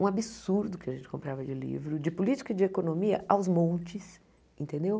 um absurdo que a gente comprava de livro, de política e de economia aos montes, entendeu?